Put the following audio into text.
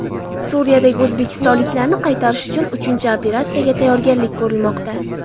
Suriyadagi o‘zbekistonliklarni qaytarish uchun uchinchi operatsiyaga tayyorgarlik ko‘rilmoqda.